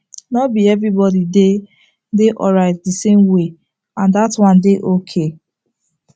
nor be everybody dey dey alright the same way and that one dey okay